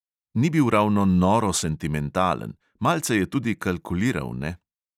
Ni bil ravno noro sentimentalen – malce je tudi kalkuliral, ne.